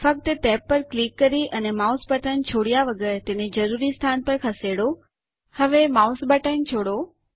ફક્ત ટેબ પર ક્લિક કરી અને માઉસ બટન છોડ્યા વગર તેને જરૂરી સ્થાન પર ખસેડો હવે માઉસ બટન છોડો